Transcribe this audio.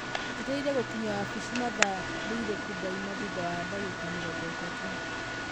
njeterere gũkinya wabici mathaa rĩriĩkũ ndaima thũtha wa ndagĩka mĩrongo ĩtatũ